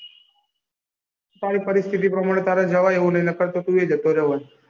તારી પરીસ્થિતિ પ્રમાણે તારે જવાય એવું નહિ નકર તો તું એ જતો રહ્યો હોત.